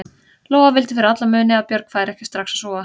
Lóa vildi fyrir alla muni að Björg færi ekki strax að sofa.